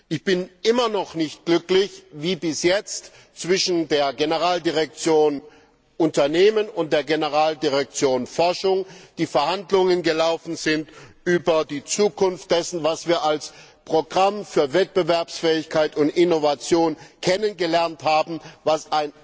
Ich bin immer noch nicht glücklich, wie bis jetzt die Verhandlungen zwischen der Generaldirektion Unternehmen und der Generaldirektion Forschung gelaufen sind über die Zukunft dessen, was wir als Programm für Wettbewerbsfähigkeit und Innovation kennengelernt haben, das